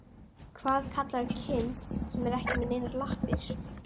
Hvað kallarðu kind sem er ekki með neinar lappir?